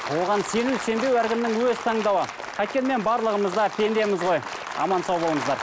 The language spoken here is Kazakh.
оған сену сенбеу әркімнің өз таңдауы қайткенмен барлығымыз да пендеміз ғой аман сау болыңыздар